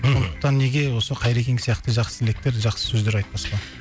мхм сондықтан неге осы қайрекең сияқты жақсы тілектер жақсы сөздер айтпасқа